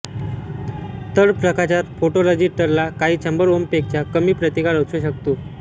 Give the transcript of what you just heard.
तर प्रकाशात फोटोरजिस्टरला काही शंभर ओमपेक्षा कमी प्रतिकार असू शकतो